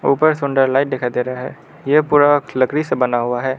ऊपर सुंदर लाइट दिखाई दे रहा है यह पूरा लकड़ी से बना हुआ है।